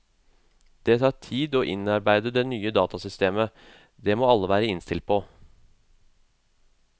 Det tar tid å innarbeide det nye datasystemet, det må alle være innstilt på.